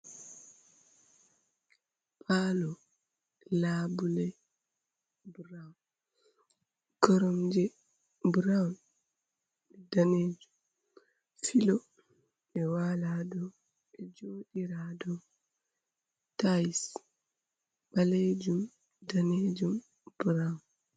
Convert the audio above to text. Palo, labule buraun koromje buraun be danejum, filo ɓe wala do bejoɗira ha do, tais balejum, danejum, buraun.